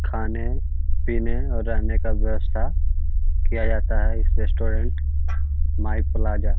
खाने पिने और रहने का वयवस्था किया जाता है इस रेस्टोरेंट माय प्लाजा --